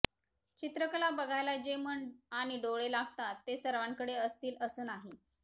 चित्रकला बघायला जे मन आणि डोळे लागतात ते सर्वांकडे असतील असं नाही